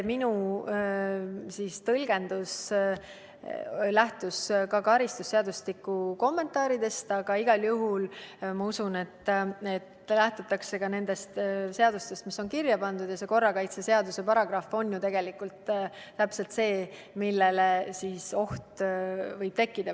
Minu tõlgendus lähtus karistusseadustiku kommentaaridest, aga igal juhul ma usun, et lähtutakse ka sellest, mis on seadustes kirja pandud, ja see korrakaitseseaduse paragrahv ütleb ju tegelikult täpselt, millal oht võib tekkida.